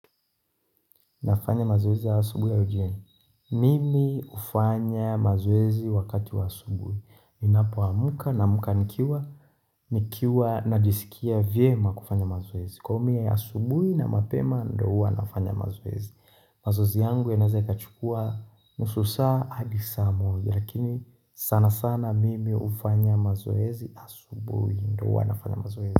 Nafanya mazoezi ya asubuhi au jioni Mimi hufanya mazoezi wakati wa asubuhi Ninapo amka naamka nikiwa nikiwa najiskia vyema kufanya mazoezi Kwa hiyo mie asubuhi na mapema ndio huwa nafanya mazoezi mazoezi yangu yanaweza ikachukua nusu saa hadi saa moja Lakini sana sana mimi hufanya mazoezi asubuhi Ndio huwa nafanya mazoezi.